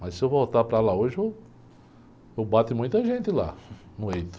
Mas se eu voltar para lá hoje, eu, eu bato em muita gente lá, muito.